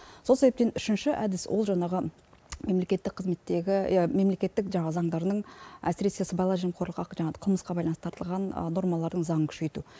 сол себептен үшінші әдіс ол жаңағы мемлекеттік жаңағы заңдарының әсіресе сыбайлас жемқорлыққа жаңағы қылмысқа байланысты таратылған нормалардың заңын күшейту